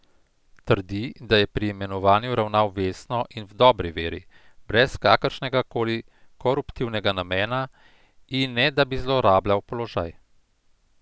Trdi, da je pri imenovanju ravnal vestno in v dobri veri, brez kakršnegakoli koruptivnega namena in ne da bi zlorabljal položaj.